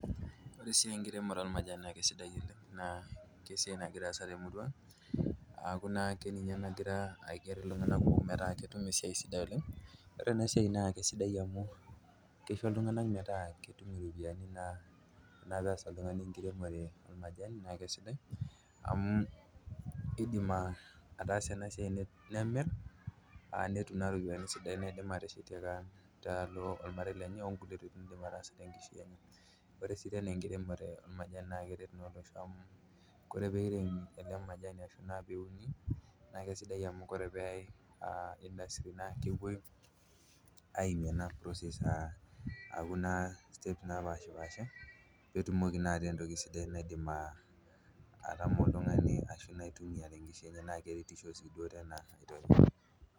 oree sii enkiremore olmajani naa kesidai oleng naa esiai nagira aasa temuurua naake ninye nagira aiger iltungana kumook metaa ketum esiai sidai oleng ore ena siai naa kesidai amuu keisho iltunganak metaa ketuum iropiyiani natasa oltungani enkiremore olmajani naa kesidai amuu eidim ataasa ena siai nemir aa netum naa ropiyiani sidain naidim ateshetie taalo olmarei lenye onkulie tokiting naidim ataasa tenkishui enye oree sii tenaenkiremore olmajani naa keret naa olosho amu koree peiremi ele majani ashuu peuni naa kesidai amuu ore peekesi naakepoi aimie ena process aku naa stage napaashapaasha peetumokii naa ataa entoki sidai naidim atama oltungani ashuu naa aitumia tenkishui enye na keretishoo sii